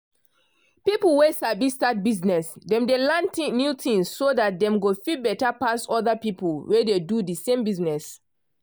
people wey sabi start business dem dey learn new things so dat dem go fit better pass other people wey dey do de same business.